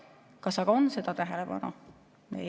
Kas aga on seda tähelepanu?